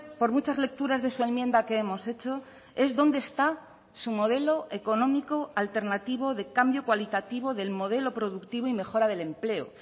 por muchas lecturas de su enmienda que hemos hecho es dónde está su modelo económico alternativo de cambio cualitativo del modelo productivo y mejora del empleo